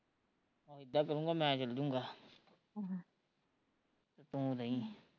ਆਹੋ ਇੱਦਾਂ ਕਰੁਗਾ ਮੈਂ ਚਲਜੁਗਾ ਤੇ ਤੂੰ ਰਹੀ